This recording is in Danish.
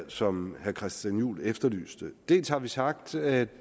som herre christian juhl efterlyste dels har vi sagt at